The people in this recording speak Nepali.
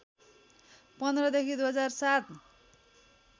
१५ देखि २००७